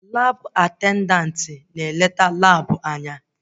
Labụ atendantị na eneta Labụ anya